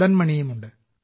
മദൻ മണിയും ഉണ്ട്